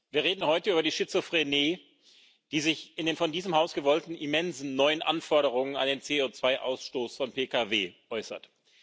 Wir reden heute über die Schizophrenie, die sich in den von diesem Haus gewollten immensen neuen Anforderungen an den CO2 Ausstoß von Pkw äußert.